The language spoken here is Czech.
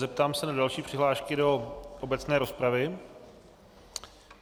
Zeptám se na další přihlášky do obecné rozpravy.